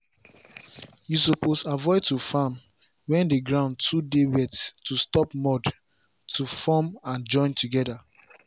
you suppose avoid to farm when the ground too dey wet to stop mud to form and join together.